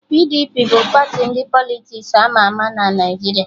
PDP bụ party ndị Politiks ama ama na Naijiria